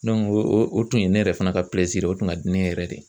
o tun ye ne yɛrɛ fana ka ye o kun ka di ne yɛrɛ de ye.